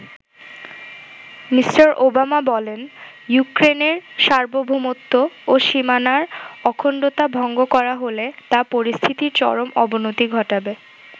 Me. Obama বলেন ইউক্রেনের সার্বভৌমত্ব ও সীমানার অখণ্ডতা ভঙ্গ করা হলে তা পরিস্থিতির চরম অবনতি ঘটাবে।